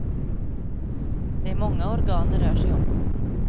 Det är många organ det rör sig om.